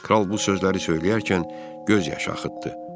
Kral bu sözləri söyləyərkən göz yaşı axıtdı.